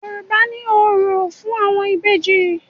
Yorùbá ní òrò fún àwọn Ìbejì.